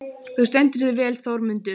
Þú stendur þig vel, Þormundur!